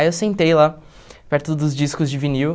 Aí eu sentei lá, perto dos discos de vinil.